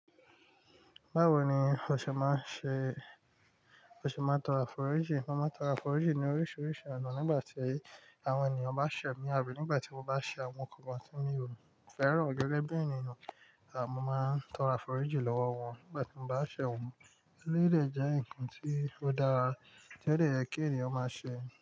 Báwo ni o ṣe máa ń ṣe, o ṣe máa ń tọrọ àforíjì? Mo máa ń tọrọ àforíjì ní oríṣiríṣi ọ̀nà nígbà tí àwọn ènìyàn bá ṣẹ̀ mī àbí nígbà tí mo bá ṣẹ̀ àwọn nkankan tí mi ò fẹ́ràn gẹ́gẹ́ bí ènìyàn mo máa ń tọrọ àforíjì lọ́wọ́ wọn nígbà tí mo bá ṣẹ̀ wọ́n. Elé yi dè jẹ́ ǹkan tí ó dára, tiodẹ̀ yẹ kí ènìyàn máa ṣe.